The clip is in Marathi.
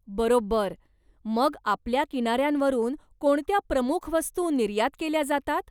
बरोबर! मग आपल्या किनाऱ्यांवरून कोणत्या प्रमुख वस्तू निर्यात केल्या जातात?